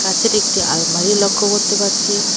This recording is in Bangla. কাঁচের একটি আলমারি লক্ষ্য করতে পারছি।